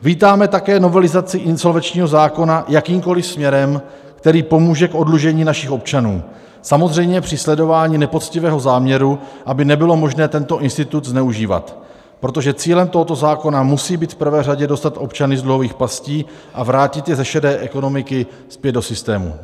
Vítáme také novelizaci insolvenčního zákona jakýmkoliv směrem, který pomůže k oddlužení našich občanů, samozřejmě při sledování nepoctivého záměru, aby nebylo možno tento institut zneužívat, protože cílem tohoto zákona musí být v prvé řadě dostat občany z dluhových pastí a vrátit je ze šedé ekonomiky zpět do systému.